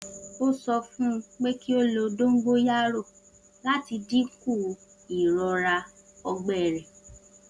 O sọ fun u pe ki o lo dongoyaro lati dinku irora ọgbẹ rẹ.